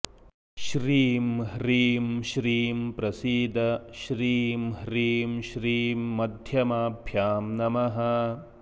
श्रीं ह्रीं श्रीं प्रसीद श्रीं ह्रीं श्रीं मध्यमाभ्यां नमः